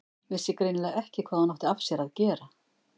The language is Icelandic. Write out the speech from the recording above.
Vissi greinilega ekki hvað hún átti af sér að gera.